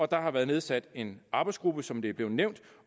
der har været nedsat en arbejdsgruppe som det er blevet nævnt